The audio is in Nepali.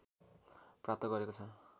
प्राप्त गरेको छ